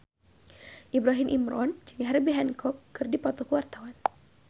Ibrahim Imran jeung Herbie Hancock keur dipoto ku wartawan